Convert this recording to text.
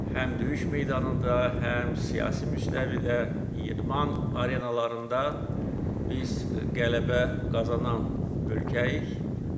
Həm döyüş meydanında, həm siyasi müstəvidə, idman arenalarında biz qələbə qazanan ölkəyik.